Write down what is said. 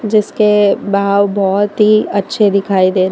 इसके बहाव बहुत ही अच्छे दिखाई दे रहे।